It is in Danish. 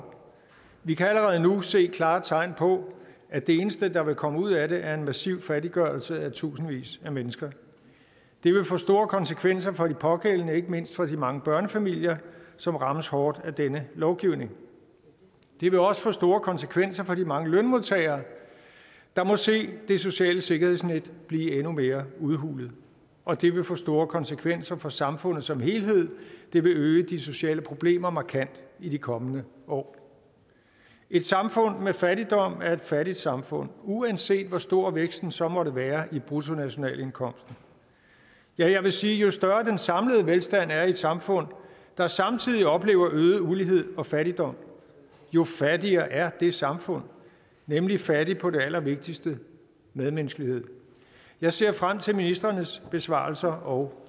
år vi kan allerede nu se klare tegn på at det eneste der vil komme ud af det er en massiv fattiggørelse af tusindvis af mennesker det vil få store konsekvenser for de pågældende ikke mindst for de mange børnefamilier som rammes hårdt af denne lovgivning det vil også få store konsekvenser for de mange lønmodtagere der må se det sociale sikkerhedsnet blive endnu mere udhulet og det vil få store konsekvenser for samfundet som helhed det vil øge de sociale problemer markant i de kommende år et samfund med fattigdom er et fattigt samfund uanset hvor stor væksten så måtte være i bruttonationalindkomsten ja jeg vil sige at jo større den samlede velstand er i et samfund der samtidig oplever øget ulighed og fattigdom jo fattigere er det samfund nemlig fattigt på det allervigtigste medmenneskelighed jeg ser frem til ministrenes besvarelser og